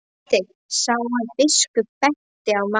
Marteinn sá að biskup benti á Maríu.